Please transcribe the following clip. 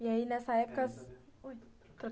E aí, nessa época... Ui